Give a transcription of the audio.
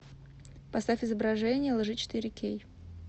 поставь изображение лжи четыре кей